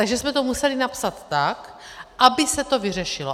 Takže jsme to museli napsat tak, aby se to vyřešilo.